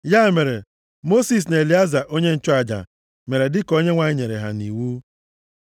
Ya mere, Mosis na Elieza onye nchụaja mere dịka Onyenwe anyị nyere ha nʼiwu.